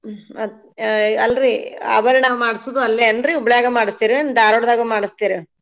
ಹ್ಮ್‌ ಮತ್ ಯ್ಞ ಅಲ್ರೀ ಆಬರ್ಣಾ ಮಾಡ್ಸುದೂ ಅಲ್ಲೇಯನ್ರೀ ಹುಬ್ಳಾಗ ಮಾಡ್ಸ್ತಿರೇನ್ ದಾರ್ವಾಡ್ದಾಗ್ ಮಾಡ್ಸತಿರೋ?